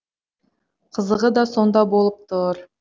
қызығы да сонда болып тұр